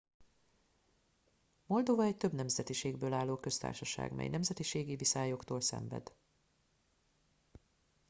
moldova egy több nemzetiségből álló köztársaság mely nemzetiségi viszályoktól szenved